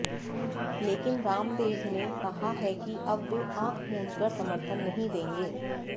लेकिन रामदेव ने कहा है कि अब वे आंख मूंद कर समर्थन नहीं देंगे